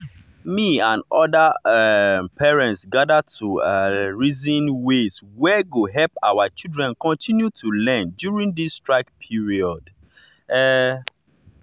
me and other um parents gather to um reason ways wey go help our children continue to learn during this strike period. um